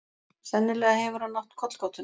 Sennilega hefur hann átt kollgátuna.